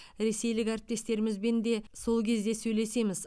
ресейлік әріптестерімізбен де сол кезде сөйлесеміз